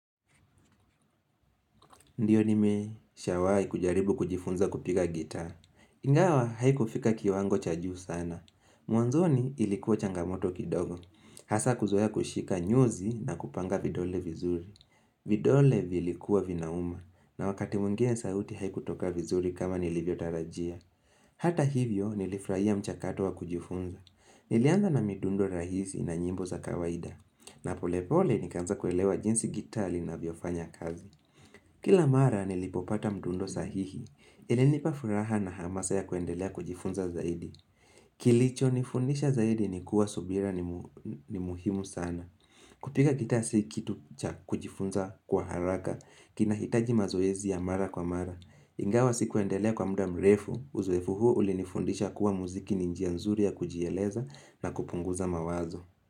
Ndiyo nime shawai kujaribu kujifunza kupiga gitaa. Ingawa haiku fika kiwango cha juu sana. Mwanzoni ilikuwa changamoto kidogo. Hasa kuzoea kushika nyuzi na kupanga vidole vizuri. Vidole vilikuwa vinauma. Na wakati mwingine sauti haiku toka vizuri kama nilivyotarajia. Hata hivyo nilifraia mchakato wa kujifunza. Nilianza na midundo rahisi na nyimbo za kawaida. Na pole pole nikaanza kuelewa jinsi gitaa li na viofanya kazi. Kila mara nilipopata mdundo sahihi, ili nipafuraha na hamasa ya kuendelea kujifunza zaidi. Kilicho nifundisha zaidi ni kuwa subira ni muhimu sana. Kupiga gitaa si kitu kujifunza kwa haraka, kinahitaji mazoezi ya mara kwa mara. Ingawa si kuendelea kwa muda mrefu, uzoefu huu ulinifundisha kuwa muziki ninjia nzuri ya kujieleza na kupunguza mawazo.